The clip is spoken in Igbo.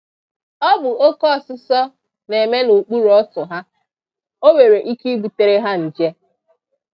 Ọ bụ oke ọsụsọ na-eme n’okpuru ọtụ ha; o nwere ike ịbutere ha nje.